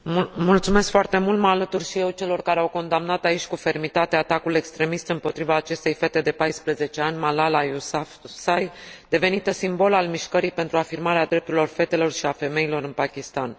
Mă alătur și eu celor care au condamnat aici cu fermitate atacul extremist împotriva acestei fete de 14 ani, Malala Yousafzai, devenită simbol al mișcării pentru afirmarea drepturilor fetelor și ale femeilor în Pakistan.